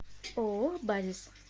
ооо базис